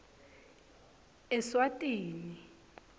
eswatini